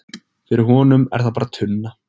Fyrir honum er það bara tunna.